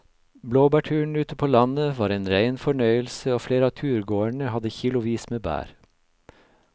Blåbærturen ute på landet var en rein fornøyelse og flere av turgåerene hadde kilosvis med bær.